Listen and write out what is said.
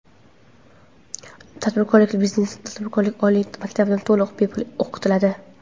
tadbirkorlikka Biznes va tadbirkorlik oliy maktabida to‘liq bepul o‘qitiladi.